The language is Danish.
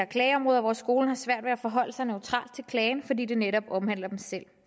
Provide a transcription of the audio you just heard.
klageområder hvor skolens svært ved at forholde sig neutralt til klagen fordi den netop omhandler dem selv